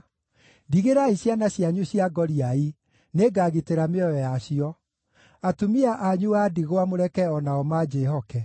Ndigĩrai ciana cianyu cia ngoriai; nĩngagitĩra mĩoyo yacio. Atumia anyu a ndigwa mũreke o nao manjĩhoke.”